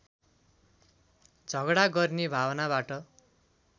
झगडा गर्ने भावनाबाट